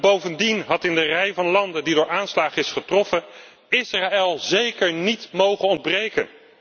Bovendien had in de rij van landen die door aanslagen is getroffen Israël zeker niet mogen ontbreken!